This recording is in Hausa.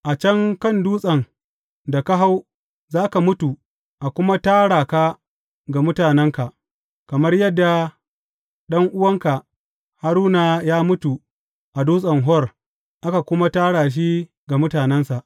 A can kan dutsen da ka hau za ka mutu a kuma tara ka ga mutanenka, kamar yadda ɗan’uwanka Haruna ya mutu a Dutsen Hor aka kuma tara shi ga mutanensa.